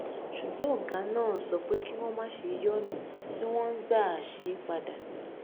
ṣùgbọn ògá náà sọ pé kí wón má ṣe yí ònà tí wón ń gbà ṣe é padà